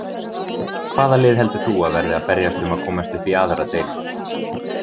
Hvaða lið heldur þú að verði að berjast um að komast upp í aðra deild?